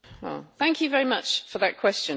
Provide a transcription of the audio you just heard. Thank you very much for that question.